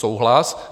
Souhlas.